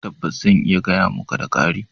Tabbas! zan iya gaya muka, da ƙari